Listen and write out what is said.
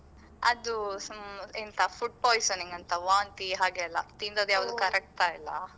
ಅದೂ some ಎಂತ food poisoning ಅಂತ ವಾಂತಿ ಹಾಗೆಲ್ಲಾ ತಿಂದದ್ ಯಾವುದು ಕರಗ್ತಾ ಇಲ್ಲ.